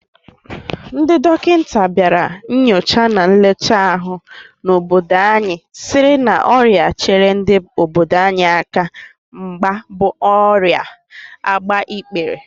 Ndị dọkịta bịara nnyocha na nlecha ahụ n'obodo anyị sịrị na ọrịa chere ndị obodo anyị aka mgba bụ ọrịa agbaikpere